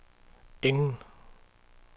ingen